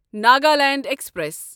Nagaland express